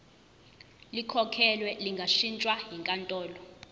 likhokhelwe lingashintshwa yinkantolo